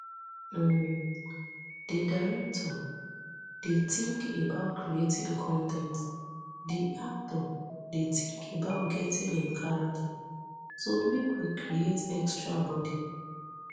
um di director dey tink about creating con ten t di actor dey tink about getting in character so make we create extra bodi